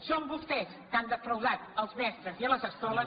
són vostès que han defraudat els mestres i les escoles